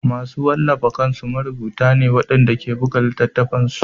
Masu wallafa kansu marubuta ne waɗanda ke buga littattafansu